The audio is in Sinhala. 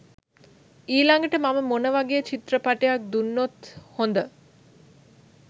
ඊලඟට මම මොනවගේ චිත්‍රපටියක් දුන්නොත් හොඳ?